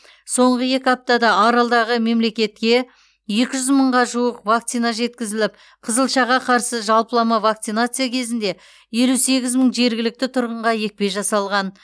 соңғы екі аптада аралдағы мемлекетке екі жүз мыңға жуық вакцина жеткізіліп қызылшаға қарсы жалпылама вакцинация кезінде елу сегіз мың жергілікті тұрғынға екпе жасалған